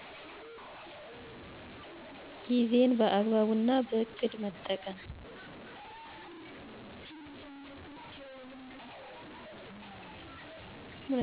ጊዜን በአግባቡና በእቅድ መጠቀም